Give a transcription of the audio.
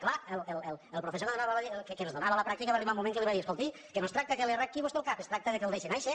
clar el professor que ens donava la pràctica va arribar un moment en què li va dir escolti que no es tracta que li arranqui vostè el cap es tracta que el deixi nàixer